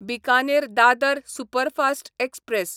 Bikaner Dadar superfast express